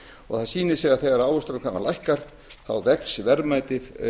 og það sýnir sig að þegar ávöxtunarkrafan lækkar þá vex verðmæti